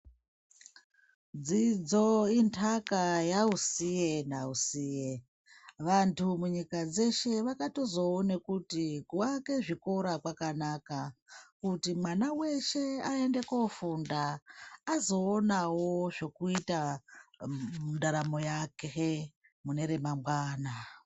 Dzidzo, inthaka yausiye nausiye, vanthu munyika dzeshe, vakatozoona kuti, kuake zvikora kwakanaka. Kuti mwana weshe, aende koofunda, azoonawo zvekuita mundaramo yake mune remangwana.